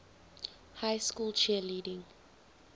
high school cheerleading